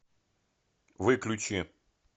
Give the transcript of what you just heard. выключи